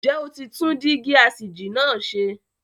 Ǹjẹ́ o ti tún dígí asìjì náà ṣe?